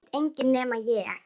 Það veit enginn nema ég.